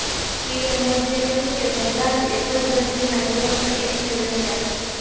PM મોદીએ કહ્યું કે બધા જ એક જ વ્યક્તિના વિરોધમાં એક થઈ રહ્યા છે